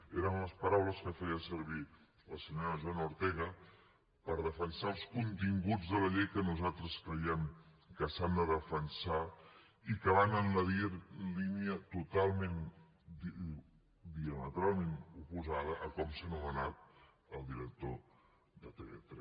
eren les paraules que feia servir la senyora joana ortega per defensar els continguts de la llei que nosaltres creiem que s’han de defensar i que van en la línia totalment diametralment oposada a com s’ha nomenat el director de tv3